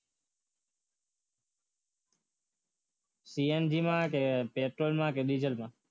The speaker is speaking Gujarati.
CNG માં કે પેટ્રોલમાં કે ડીઝલમાં